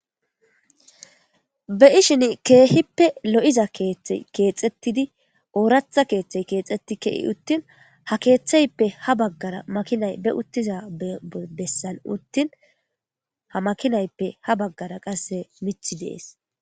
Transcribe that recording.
Be'ishin keehippe lo7iza keethte keexettidi ooratha keeththey keexetti kei uttin ha keeththayppe ha baggara makinay be uttiza bessal uttin ha makinayppe ha baggara qasse mith dees